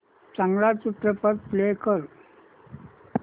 चांगला चित्रपट प्ले कर